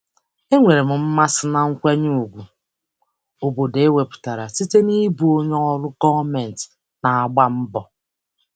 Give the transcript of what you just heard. Enwere m mmasị na nkwanye ùgwù obodo enwetara site n'ịbụ onye ọrụ gọọmentị na-agba mbọ.